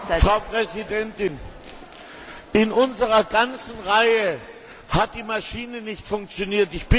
Frau Präsidentin! In unserer ganzen Reihe hat die Maschine nicht funktioniert.